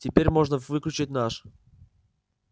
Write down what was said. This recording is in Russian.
теперь можно выключать наш